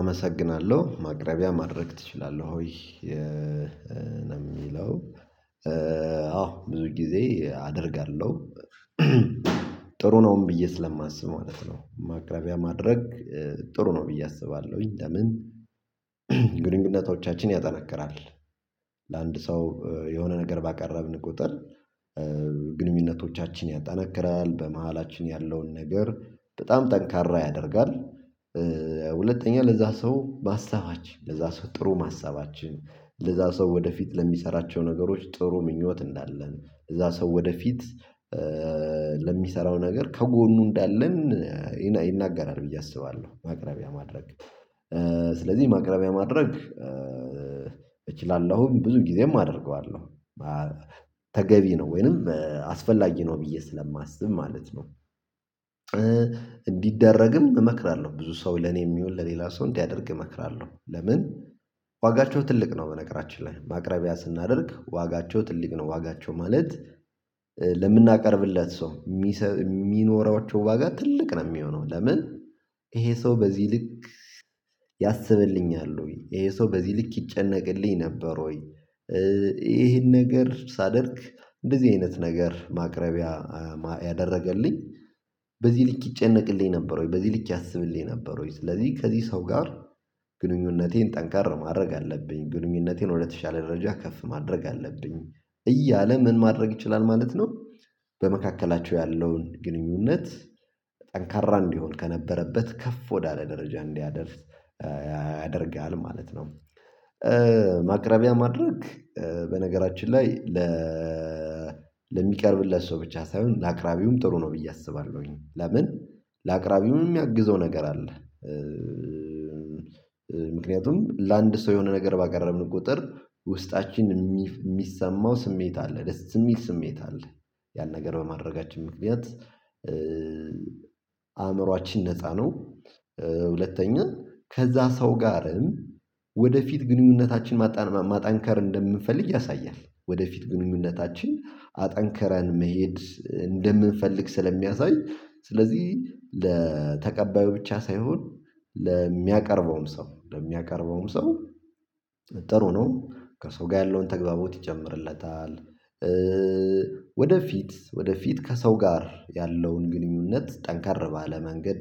አመሰግናለው ማቅረቢያ ማድረግ ትችላለህ? ወይ ለሚለው አዎ ብዙ ጊዜ አደርጋለው። ጥሩ ነውም ብዬ ስለማስብ ማለት ነው። ማቅረቢያ ማድረግ ጥሩ ነው ብዬ አስባለውኝ። ለምን? ግንኙነቶቻችን ያጠነክራል ለአንድ ሰው የሆነ ነገር ባቀረብን ቁጥር ግንኙነቶቻችን ያጠነክራል በመሃላችን ያለውን ነገር በጣም ጠንካራ ያደርጋል። ሁለተኛ ለዛ ሰው ባሳባችን ለዛ ሰው ጥሩ ማሰባችን ለዛ ሰው ወደፊት ለሚሰራቸው ነገሮች ጥሩ ምኞት እንዳለን ለዛ ሰው ወደፊት ለሚሰራው ነገር ከጎኑ እንዳለን ይናገራል ብዬ አስባለው። ማቅረቢያ ማድረግ ስለዚ ማቅረቢያ ማድረግ እችላለሁም ብዙ ጊዜም አደርገዋለው። ተገቢ ነው ወይንም አስፈላጊ ነው ብዬ ስለማስብ ማለት ነው። እንዲደረግም እመክራለው ብዙ ሰው ለኔ ይሁን ለሌላ ሰው እንዲያደርግ እመክራለሁ። ለምን? ዋጋቸው ትልቅ ነው በነገራችን ላይ ማቅረቢያ ስናደርግ ዋጋቸው ትልቅ ነው ዋጋቸው ማለት ለምናቀርብለት ሰው ሚኖሯቹ ዋጋ ትልቅ ነው ሚሆነው። ለምን? ይሄ ሰው በዚ ልክ ያስብልኛል። ወይ ይሄ ሰው በዚ ልክ ይጨነቅልኝ ነበር ወይ? ይሄን ነገር ሳደርግ እንደዚ አይነት ነገር ማቅረቢያ ያደረገልኝ በዚ ልክ ይጨነቅልኝ ነበር ወይ በዚ ልክ ያስብልኝ ነበር ወይ? ስለዚ ከዚ ሰው ጋር ግንኙነቴን ጠንከር ማድረግ አለብኝ ግንኙነቴን ወደተሻለ ደረጃ ከፍ ማድረግ አለብኝ። እያለ ምን ማድረግ ይችላል ማለት ነው። በመካከላቸው ያለውን ግንኙነት ጠንካራ እንዲሆን ከነበረበት ከፍ ወዳለ ደረጃ እንዲያደርስ ያደርጋል ማለት ነው። ማቅረቢያ ማድረግ በነገራችን ላይ። ለሚቀርብለት ሰው ብቻ ሳይሆን ለአቅራቢውም ጥሩ ነው ብዬ አስባለውኝ። ለምን? ለአቅራቢውም ሚያግዘው ነገር አለ። ምክንያቱም ለአንድ ሰው የሆነ ነገር ባቀረብን ቁጥር ውስጣችን ሚሰማው ስሜት አለ ደስ ሚል ስሜት አለ። ያን ነገር በማድረጋችን ምክንያት አእምሮአችን ነፃ ነው። ሁለተኛ ከዛ ሰው ጋርም ወደፊት ግንኙነታችን ማጠንከር እንደምንፈልግ ያሳያል። ወደፊት ግንኙነታችን አጠንክረን መሄድ እንደምንፈልግ ስለሚያሳይ ስለዚ ለተቀባዩ ብቻ ሳይሆን ለሚያቀርበውም ሰው ለሚያቀርበውም ሰው ጥሩ ነው ከሰው ጋ ያለውን ተግባቦት ይጨምርለታል። ወደፊት ወደፊት ከሰው ጋር ያለውን ግንኙነት ጠንከር ባለ መንገድ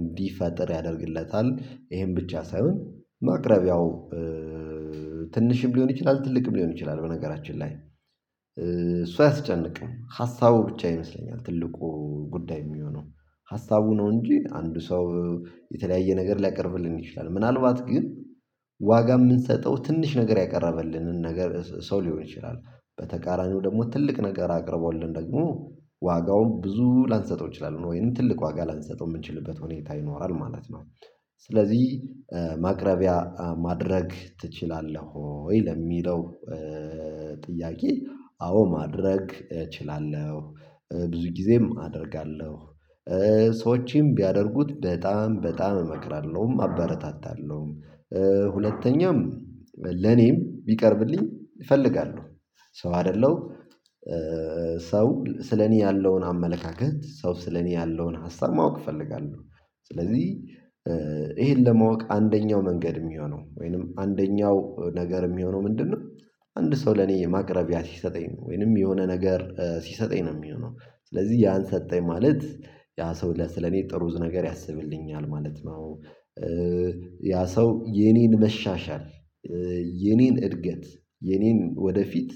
እንዲፈጥር ያደርግለታል። ይሄን ብቻ ሳይሆን ማቅረቢያው ትንሽም ሊሆን ይችላል ትልቅም ሊሆን ይችላል በነገራችን ላይ። እሱ አያስጨንቅም ሀሳቡ ብቻ ይመስለኛል። ትልቁ ጉዳይ ሚሆነው። ሀሳቡ ነው እንጂ አንዱ ሰው የተለያየ ነገር ሊያቀርብልን ይችላል። ምናልባት ግን። ዋጋ ምንሰጠው ትንሽ ነገር ያቀረበልንን ነገር ሰው ሊሆን ይችላል። በተቃራኒው ደሞ ትልቅ ነገር አቅርቦልን ደግሞ ዋጋውን ብዙ ላንሰጠው እንችላለን ነው ወይንም ትልቅ ዋጋ ላንሰጠው ምንችልበት ሁኔታ ይኖራል ማለት ነው። ስለዚ ማቅረቢያ ማድረግ ትችላለህ? ወይ ለሚለው ጥያቄ አዎ ማድረግ እችላለሁ። ብዙ ጊዜም አደርጋለሁ። ሰዎችም ቢያደርጉት በጣም በጣም እመክራለውም አበረታታለውም። ሁለተኛም ለኔም ቢቀርብልኝ እፈልጋለው። ሰው አደለው። ሰው ስለኔ ያለውን አመለካከት ሰው ስለኔ ያለውን ሀሳብ ማወቅ እፈልጋለው። ስለዚ ይሄን ለማወቅ አንደኛው መንገድ ሚሆነው ወይንም አንደኛው ነገር ሚሆነው ምንድነው? አንድ ሰው ለኔ ማቅረቢያ ሲሰጠኝ ወይንም የሆነ ነገር ሲሰጠኝ ነው ሚሆነው። ስለዚ ያን ሰጠኝ ማለት ያ ሰው ስለኔ ጥሩ ነገር ያስብልኛል ማለት ነው። ያ ሰው የኔን መሻሻል የኔን እድገት የኔን ወደፊት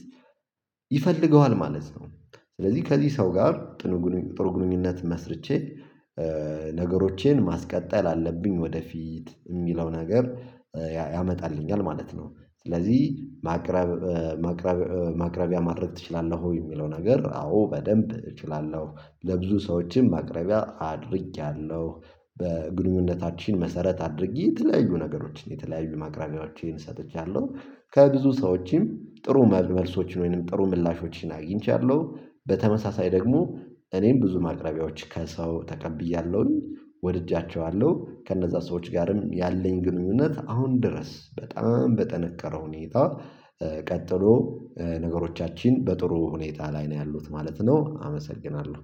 ይፈልገዋል ማለት ነው። ስለዚ ከዚ ሰው ጋር ጥሩ ግንኙነት መስርቼ ነገሮቼን ማስቀጠል አለብኝ ወደፊት ሚለው ነገር ያመጣልኛል ማለት ነው። ስለዚ ማቅረብ ማቅረብ ማቅረቢያ ማድረግ ትችላለህ? ወይ ሚለው ነገር አዎ በደንብ እችላለሁ ለብዙ ሰዎችም ማቅረቢያ አድርጌያለው። በግንኙነታችን መሰረት አድርጌ የተለያዩ ነገሮችን የተለያዩ ማቅረቢያዎችን ሰጥቻለው። ከብዙ ሰዎችም ጥሩ መልሶችን ወይንም ጥሩ ምላሾችን አግኝቻለው በተመሳሳይ ደግሞ እኔም ብዙ ማቅረቢያዎች ከሰው ተቀብያለውኝ ወድጃቸዋለው ከነዛ ሰዎች ጋርም ያለኝ ግንኙነት አሁን ድረስ በጣም በጠነከረ ሁኔታ። ቀጥሎ ነገሮቻችን በጥሩ ሁኔታ ላይ ነው ያሉት ማለት ነው። አመሰግናለው